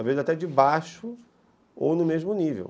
Às vezes até de baixo ou no mesmo nível.